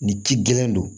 Ni ci gɛlɛn don